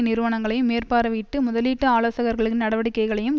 நிறுவனங்களையும் மேற்பார்வையிட்டு முதலீட்டு ஆலோசகர்களின் நடவடிக்கைகளையும்